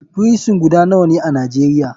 Frison guda nawane a nijeria?